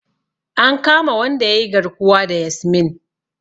An kama wanda yayi garkuwa da Yasmin.